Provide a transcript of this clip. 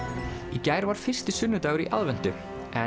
í gær var fyrsti sunnudagur í aðventu